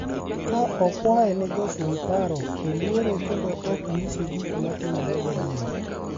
Ka okwaye ni josume paro oluore kendo ok nyise gik ma otimore gadier